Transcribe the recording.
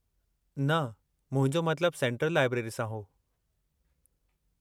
न, मुंहिंजो मतलबु सेंट्रलु लाइब्रेरी सां हो।